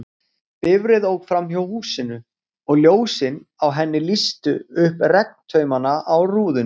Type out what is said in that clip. Bifreið ók framhjá húsinu, og ljósin á henni lýstu upp regntaumana á rúðunni.